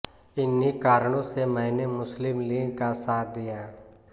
इन्ही कारणों से मैंने मुस्लिम लीग का साथ दिया